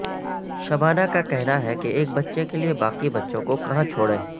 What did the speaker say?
شبانہ کا کہنا ہے کہ ایک بچے کے لیے باقی بچوں کو کہاں چھوڑیں